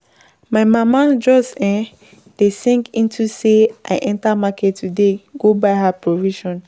My mama just um dey sing into say I enter market today go buy her provision